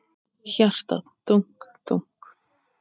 Hjartað dunk dunk.